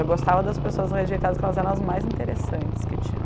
Eu gostava das pessoas rejeitadas porque elas eram as mais interessantes que tinham.